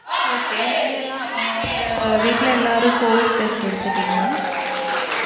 Okay நீங்க எல்லாம் உங்க வீட்ல எல்லாரும் covid test எடுத்திடீங்களா?